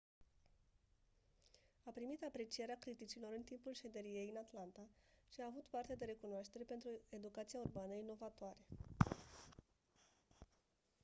a primit aprecierea criticilor în timpul șederii ei în atlanta și a avut parte de recunoaștere pentru educația urbană inovatoare